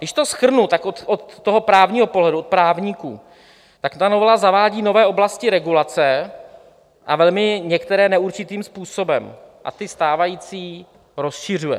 Když to shrnu, tak od toho právního pohledu, od právníků, tak ta novela zavádí nové oblasti regulace, a velmi některé neurčitým způsobem, a ty stávající rozšiřuje.